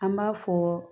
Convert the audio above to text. An b'a fɔ